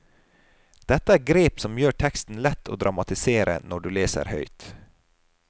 Dette er grep som gjør teksten lett å dramatisere når du leser høyt.